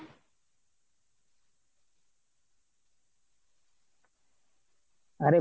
আরে